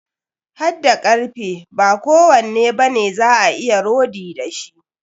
Hadda karfe, ba kowanne bane za a iya rodi da shi.